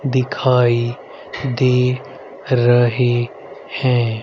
दिखाई दे रहे है।